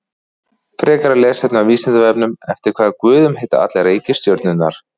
Frekara lesefni á Vísindavefnum: Eftir hvaða guðum heita allar reikistjörnurnar?